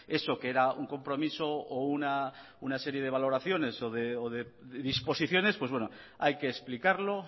eso que era un compromiso o una serie de valoraciones o de disposiciones pues hay que explicarlo